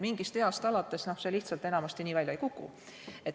Mingist east alates see lihtsalt enamasti nii välja ei kuku.